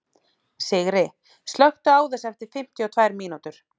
Sigri, slökktu á þessu eftir fimmtíu og tvær mínútur.